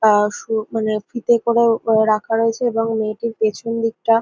আহ সু মানে ফিতে করেও রাখা রয়েছে এবং মেয়েটির পেছন দিকটা--